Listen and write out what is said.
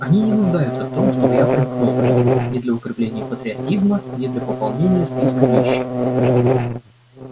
они не нуждаются в том чтобы я примкнул к ним ни для укрепления патриотизма ни для пополнения списка нищих